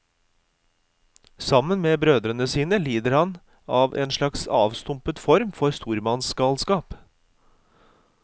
Sammen med brødrene sine lider han av en slags avstumpet form for stormannsgalskap.